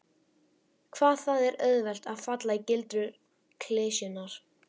Hvað það er auðvelt að falla í gildrur klisjunnar.